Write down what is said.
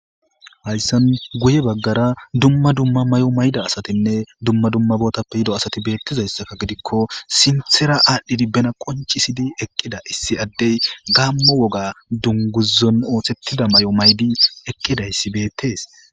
hayssan guye baggara dumma dumma may7o mayda asatinne dumma dumma bootappe yido asati beettizayssaka gidikko sinthera aadhdhidi bena qoncisidi eqqida issi addey gaammo woga dunguzon oothettida may7o maydi eqqidayssi beettees